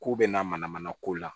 K'u bɛna mana mana ko la